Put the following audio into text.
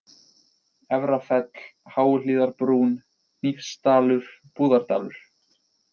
Efrafell, Háuhlíðarbrún, Hnífsdalur, Búðardalur